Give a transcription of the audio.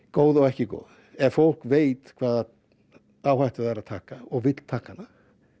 góð og ekki góð ef fólk veit hvaða áhættu það er að taka og vill taka hana